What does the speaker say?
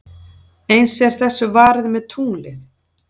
Eins er þessu varið með tunglið.